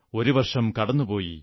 ഒരു വർഷം കടന്നുപോയി